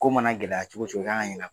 Ko mana gɛlɛya cogo cogo i k'a kan